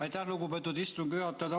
Aitäh, lugupeetud istungi juhataja!